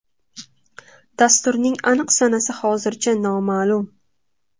Dasturning aniq sanasi hozircha noma’lum.